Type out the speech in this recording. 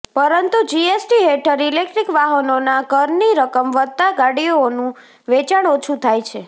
પરંતુ જીએસટી હેઠળ ઈલેકટ્રીક વાહનોના કરની રકમ વધતા ગાડીઆનું વેચાણ ઓછુ થાય છે